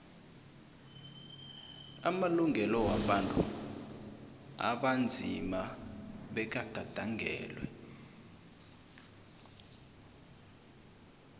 amalungelo wabantu abanzima bekagandelelwe